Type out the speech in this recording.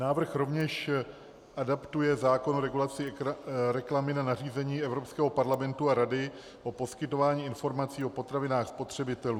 Návrh rovněž adaptuje zákon o regulaci reklamy na nařízení Evropského parlamentu a Rady o poskytování informací o potravinách spotřebitelům.